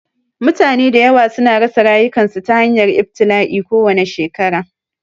Mutane da yawa su na rasa rayukansu ta hanyar ibtila'i kowane shekara